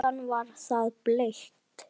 Áðan var það bleikt.